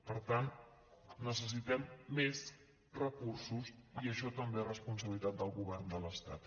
per tant necessitem més recursos i això també és responsabilitat del govern de l’estat